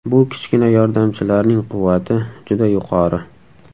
Bu kichkina yordamchilarning quvvati juda yuqori.